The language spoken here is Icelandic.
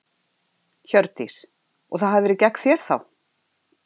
Hjördís: Og það hafi verið gegn þér þá?